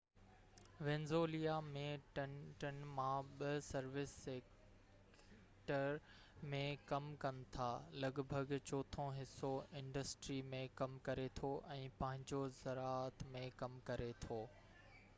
Venezuela ۾ ٽن مان ٻہ سروس سيڪٽر ۾ ڪم ڪن ٿا لڳ ڀڳ چوٿون حصو انڊسٽري ۾ ڪم ڪري ٿو ۽ پنجون زراعت ۾ ڪم ڪري ٿو